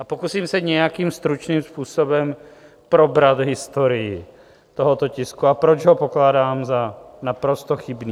A pokusím se nějakým stručným způsobem probrat historií tohoto tisku a proč ho pokládám za naprosto chybný.